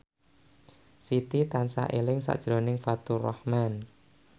Siti tansah eling sakjroning Faturrahman